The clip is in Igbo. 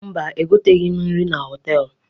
Mba, egoteghi m nri na họtelụ.